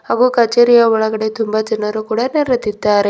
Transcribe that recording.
ಹಾಗೂ ಕಚೇರಿಯ ಒಳಗಡೆ ತುಂಬ ಜನರು ಕೂಡ ನೆರದಿದ್ದಾರೆ.